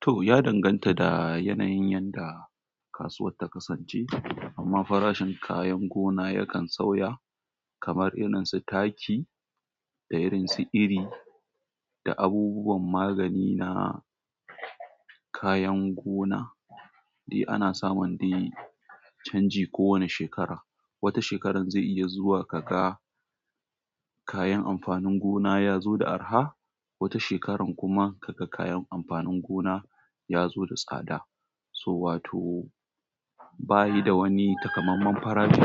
To, ya danganta da yanayin yadda kasuwar ta kasance. Amma farashin kayan gona yakan sauya, kamar irin su taki da irin su iri da abubuwan magani na kayan gona. Eh ana samun dai canji kowane shekara. Wata shekarar zai iya zuwa ka ga kayan amfanin gona ya zo da arha, wata shekarar kuma ka ga kayan amfanin gona ya zo da tsada. So, wato bayi da wani takamaiman farashi.